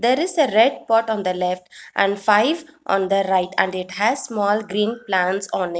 there is a red pot on the left and five on the right and it has small green plants on a --